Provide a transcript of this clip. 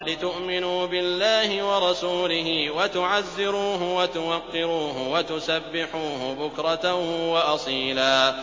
لِّتُؤْمِنُوا بِاللَّهِ وَرَسُولِهِ وَتُعَزِّرُوهُ وَتُوَقِّرُوهُ وَتُسَبِّحُوهُ بُكْرَةً وَأَصِيلًا